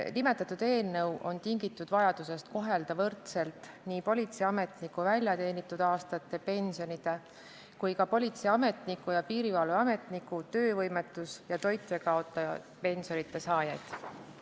Nimetatud eelnõu on tingitud vajadusest kohelda võrdselt nii politseiametniku väljateenitud aastate pensionide kui ka politseiametniku ja piirivalveametniku töövõimetus- ja toitjakaotuspensionide saajaid.